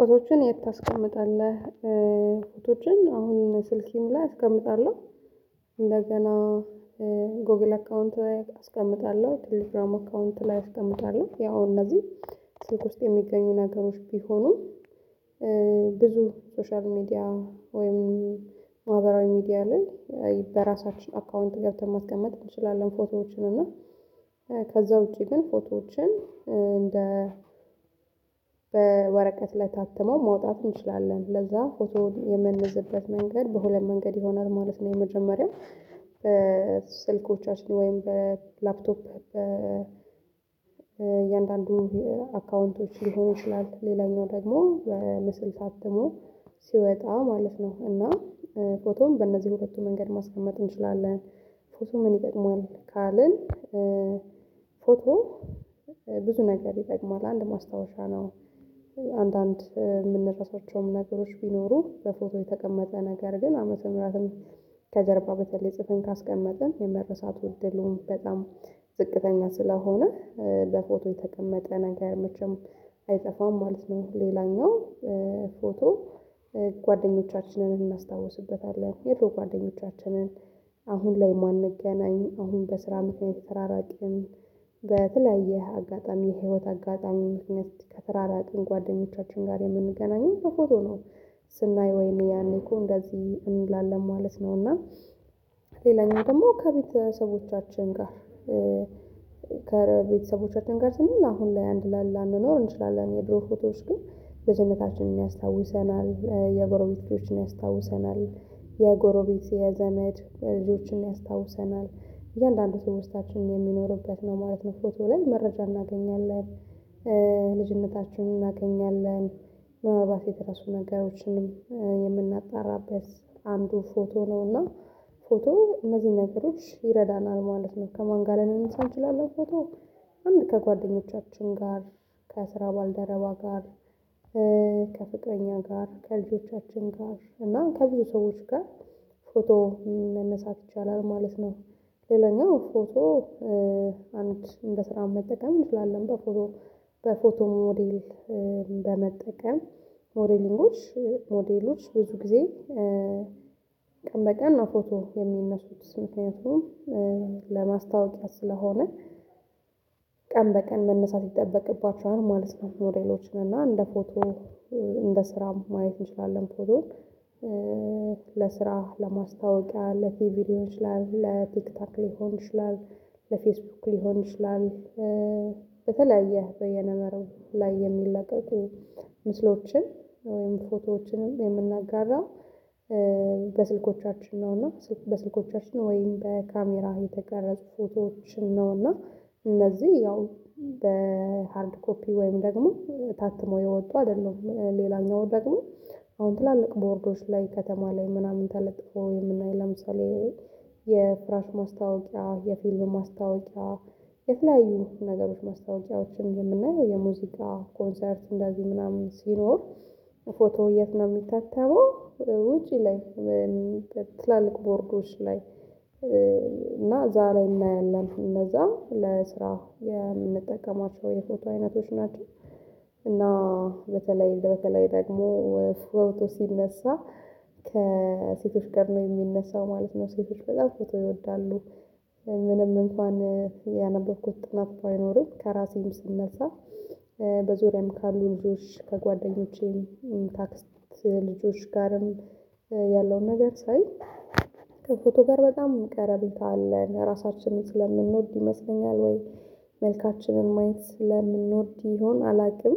ፎቶዎችን የት ታስቀምጣለህ? ፎቶዎችን አሁን ስልኬም ላይ አስቀምጣለሁ። እንደገና ጎግል አካውንት ላይ አስቀምጣለሁ ቴሌግራም አካውንት ላይ አስቀምጣለሁ። ያው እነዚህ ስልክ ውስጥ የሚገኙ ነገሮች ቢሆኑም። ብዙ ሶሻል ሚዲያ ወይም ማህበራዊ ሚዲያ ላይ በራሳችን አካውንት ገብተን ማስቀመጥ እንችላለን። ፎቶዎችን እና ከዛ ውጪ ግን ፎቶዎችን እንደ በወረቀት ላይ ታትሞ ማውጣት እንችላለን። ለዛ ፎቶ የምንዝበት መንገድ በሁለት መንገድ ይሆናል ማለት ነው። የመጀመሪያው በስልኮቻችን ወይም በላፕቶፕ በእያንዳንዱ አካውንቶች ሊሆን ይችላል። ሌላኛው ደግሞ በምስል ታትሞ ሲወጣ ማለት ነው። እና ፎቶም በእነዚህ በሁለቱ መንገድ ማስቀመጥ እንችላለን። ፎቶ ምን ይጠቅማል ካልን ፎቶ ብዙ ነገር ይጠቅማል አንድ ማስታወሻ ነው። አንዳንድ የምንረሳቸው ነገሮች ቢኖሩ በፎቶ የተቀመጠ ነገር ግን አመት አመታትም ከጀርባ በተለይ ጽፍን ካስቀመጥን የመረሳት ውድድሉን በጣም ዝቅተኛ ስለሆነ። በፎቶ የተቀመጠ ነገር መቼም አይጠፋም ማለት ነው። ሌላኛው ፎቶ ጓደኞቻችንን እናስታውስበታለን የድሮ ጓደኞቻችንን አሁን ላይ ማንገናኝ አሁን በስራ ምክኒያት የተራራቅን በተለያየ አጋጣሚ የህይወት አጋጣሚ ምክንያት ከተራራቅን ጓደኞቻችን ጋር የምንገናኝ በፎቶ ነው። ስናይ ወይም ያኔ እኮ እንደዚህ እንላለን ማለት ነው። እና ሌላኛው ደግሞ ከቤተሰቦቻችን ጋር ከቤተሰቦቻችን ጋር ስል አሁን ላይ አንድ ላይ ላንኖር እንችላለን። የድሮ ፎቶዎች ግን ልጅነታችንን ያስታውሰናል የጎረቤቶችን ያስታውሰናል የጎረቤት የዘመድ ልጆችን ያስታውሰናል እያንዳንዱ ሰው ውስጣችን የሚኖሩበት ነው ማለት ነው። ፎቶ ላይ መረጃ እናገኛለን ልጅነታችንን እናገኛለን ምናልባት የተረሱ ነገሮችንም የምናጣራበት አንዱ ፎቶ ነው። እና ፎቶ እነዚህን ነገሮች ይረዳናል ማለት ነው። ከማን ጋር ልንነሳ እንችላለን? ፎቶ አንድ ከጓደኞቻችን ጋር ከስራ ባልደረባ ጋር ከፍቅረኛ ጋር ከልጆቻችን ጋር እና ከሌሎች ሰዎች ጋር ፎቶ መነሳት ይቻላል ማለት ነው። ሌላኛው ፎቶ አንድ እንደ ስራ መጠቀም እንችላለን። በፎቶ በፎቶ ሞዴል በመጠቀም ሞዴሊንጎች ሞዴሉች ብዙ ጊዜ ቀን በቀን ነው ፎቶ የሚነሱት ምክኒያቱም ለማስታወቂያ ስለሆነ። ቀን በቀን መነሳት ይጠበቅባቸዋል ማለት ነው ሞዴሎች እና እንደ ፎቶ እንደ ስራ ማየት እንችላለን። ፎቶን ለስራ ለማስታወቂያ ለፊልም ሊሆን ይችላል ለቲክታክ ሊሆን ይችላል። ለፌስቡክ ሊሆን ይችላል። በተለያየ በየነ መረብ ላይ የሚለቀቁ ምስሎችን ወይም ፎቶዎችንም የምናጋራው በስልኮቻችን ነው። እና በስልኮቻችን ነው ወይም በካሜራ የተቀረጹ ፎቶዎችን ነው። እና እነዚህ ያው በሃርድ ኮፒ ወይም ደግሞ ታትሞ የወጡ አይደሉም። ሌላኛው ደግሞ አሁን ትላልቅ ቦርዶች ላይ ከተማ ላይ ምናምን ተለጥፎ የምናይ ለምሳሌ የፍራሽ ማስታወቂያ የፊልም ማስታወቂያ የተለያዩ ነገሮች ማስታወቂዎችን የምናየው የሙዚቃ ኮንሰርት እንደዚህ ምናምን ሲኖር። ፎቶ የት ነው የሚታተመው? ውጪ ላይ ትላልቅ ቦርዶች ላይ እና እዛ ላይ እናያለን እነዛ ለስራ የምንጠቀማቸው የፎቶ አይነቶች ናቸው። እና በተለይ በተለይ ደግሞ ፎቶ ሲነሳ ከሴቶች ጋር ነው የሚነሳው ማለት ነው። ሴቶች በጣም ፎቶ ይወዳሉ። ምንም እንኳን ያነበብኩት ጥናት ባይኖርም ከራሴም ስነሳ በዙሪያም ካሉ ልጆች ከጓደኞቼም ከአክስት ልጆች ጋርም ያለውን ነገር ሳይ ከፎቶ ጋር በጣም ቀረቤታ አለን ራሳችንን ስለምንወድ ይመስለኛል። ወይ መልካችንን ማየት ስለምንወድ ይሆን? አላውቅም።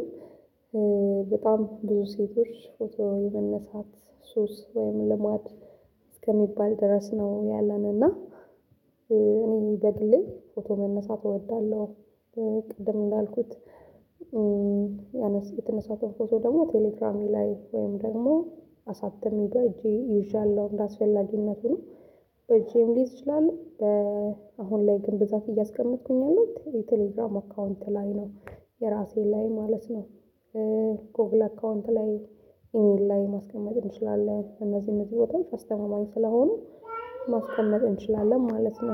በጣም ብዙ ሴቶች ፎቶ የመነሳት ሱስ ወይም ልማድ እስከሚባል ድረስ ነው ያለን እና እኔ ይገድልኝ ፎቶ መነሳት እወዳለሁ። ቅድም እንዳልኩት ያነሳሁት የተነሳሁት ፎቶ ደግሞ ቴሌግራም ላይ ወይም ደግሞ አሳትሜ በእጄ ይዣለሁ እንደአስፈላጊነቱ ነው። በእጄም ልይዝ እችላለው በአሁን ላይ ግን ብዛት እያስቀመጥኩኝ ያለሁት የቴሌግራም አካውንት ላይ ነው። የራሴ ላይ ማለት ነው። ጎግል አካውንት ላይ ኢሜል ላይ ማስቀመጥ እንችላለን። እነዚህን እነዚህ በጣም አስተማማኝ ስለሆኑ ማስቀመጥ እንችላለን ማለት ነው